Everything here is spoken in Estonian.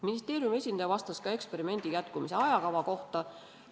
Ministeeriumi esindaja vastas ka eksperimendi jätkumise ajakava kohta.